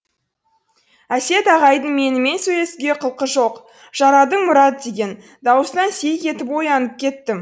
әсет ағайдың менімен сөйлесуге құлқы жоқ жарадың мұрат деген дауыстан селк етіп оянып кеттім